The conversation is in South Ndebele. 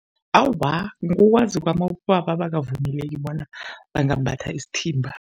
Awa, ngokwazi kwami abobaba abakavumeleki bona bangambatha isithimba.